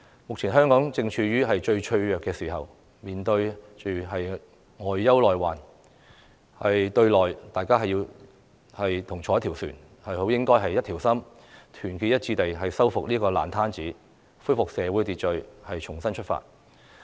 目前香港正處於最脆弱的時候，面對外憂內患；對內，大家同坐一條船，好應該一條心，團結一致地修復這個爛攤子，恢復社會秩序，重新出發。